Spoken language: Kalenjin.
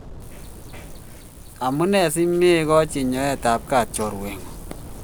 amunee simekochi nyoetapgat chorwengu?